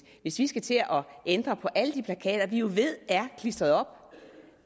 hvis vi skal til at ændre på alle de plakater vi jo ved er klistret op